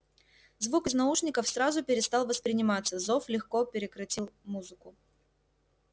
звук из наушников сразу перестал восприниматься зов легко перекрыл музыку